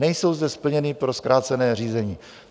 Nejsou zde splněny pro zkrácené řízení.